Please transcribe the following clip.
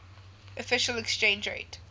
official exchange rate